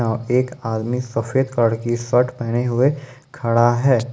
एक आदमी सफेद कलर शर्ट पहने हुए खड़ा है।